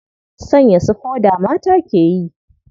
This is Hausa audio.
Sanya su foda ma mata ke yi.